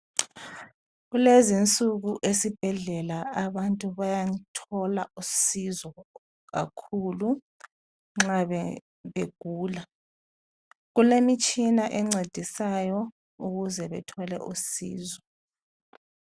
Kulezi insuku esibhedlela abantu bayathola usizo kakhulu nxa begula. Kulemitshina encedisayo ukuze bethole usizo.